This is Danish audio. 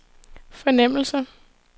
fornemmelse